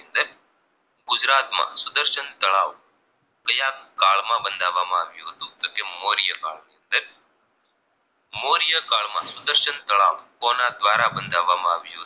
સુદર્શન તળાવ કાયા કાળ માં બાંધાવામાં આવ્યું તો કે મોર્ય કાળમાં અમ મોર્ય કાળમાં સુદર્શન તળાવ કોના દ્વારા બનાવવામાં આવ્યું હતું